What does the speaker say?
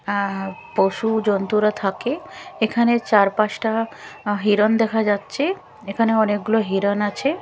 অ্যা পশু জন্তুরা থাকে এখানে চার পাঁচটা হিরণ দেখা যাচ্ছে এখানে অনেকগুলো হিরণ আছে।